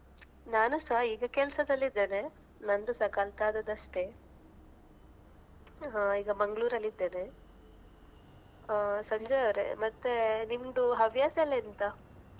ನಾನು ಸಹ ಈಗ ಕೆಲಸದಲ್ಲಿದ್ದೇನೆ ನಂದು ಸಹ ಕಲ್ತಾದದಷ್ಟೇ ಹ ಈಗ Manglore ಅಲ್ಲಿ ಇದ್ದೇನೆ. ಆ ಸಂಜಯಯವರೇ ಮತ್ತೆ ನಿಮ್ದು ಹವ್ಯಾಸ ಎಲ್ಲ ಎಂತ?